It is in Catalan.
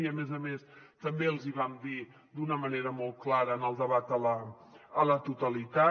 i a més a més també els hi vam dir d’una manera molt clara en el debat a la totalitat